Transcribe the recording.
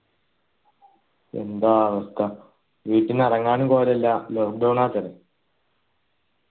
എന്താ അവസ്ഥ വീട്ടീന്ന് ഇറങ്ങാനും പോരല്ല lockdown ആക്കല്ലേ